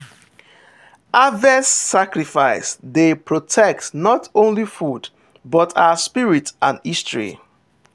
harvest sacrifice dey protect not only food—but our spirit and history.